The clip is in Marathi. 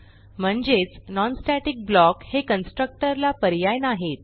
म्हणजेच non स्टॅटिक ब्लॉक हे कन्स्ट्रक्टर ला पर्याय नाहीत